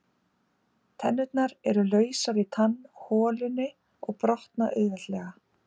Tennurnar eru lausar í tannholunni og brotna auðveldlega.